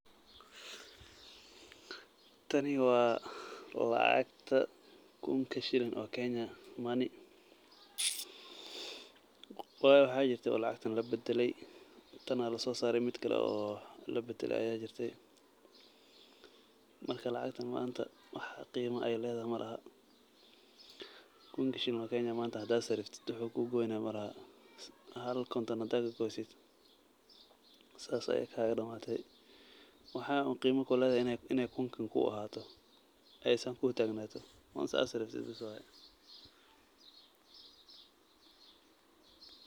Tani waa lacagta kunka shilin oo Kenya money. Waa waxaa jirtay lacagtan labadelay, tan ayaa la soo saaray, mid kale oo labedelay ayaa jirtay. Marka, lacagtan maanta wax qiimo ay leedahay malaha. Kunka shilin oo Kenya manta, hadii aad saraftid, wuxuu kuugoyna malaha. Hal konton hadaad kagoysid, saas ayaay kaagadhamaatay. Waxaa un qiimo kuleedahay inay kunkan kuu ahaato aysan kuutagnaato once aad saraftid bees waay.